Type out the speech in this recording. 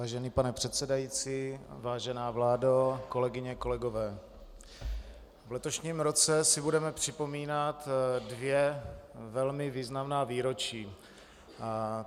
Vážený pane předsedající, vážená vládo, kolegyně, kolegové, v letošním roce si budeme připomínat dvě velmi významná výročí.